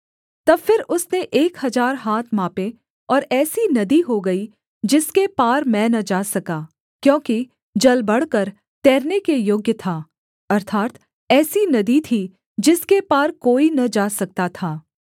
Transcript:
तब फिर उसने एक हजार हाथ मापे और ऐसी नदी हो गई जिसके पार मैं न जा सका क्योंकि जल बढ़कर तैरने के योग्य था अर्थात् ऐसी नदी थी जिसके पार कोई न जा सकता था